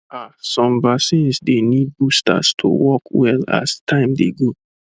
ah some vaccines dey need boosters to work well as time dey go